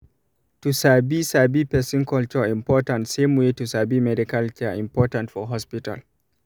to sabi sabi person culture important same way to sabi medical care important for hospital